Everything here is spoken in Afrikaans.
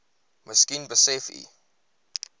miskien besef u